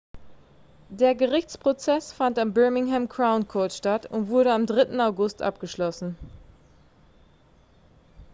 der gerichtsprozess fand am birmingham crown court statt und wurde am 3. august abgeschlossen